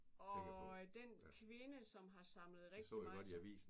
Og den kvinde som har samlet rigtig